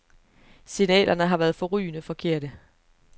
Signalerne har været forrygende forkerte.